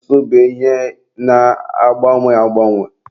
Asụsụ bụ ihe na-agbanwe agbanwe.